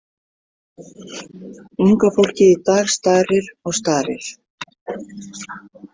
Unga fólkið í dag starir og starir.